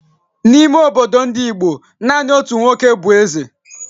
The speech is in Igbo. n'ime obodo n'Igbo, naanị otu nwoke bụ eze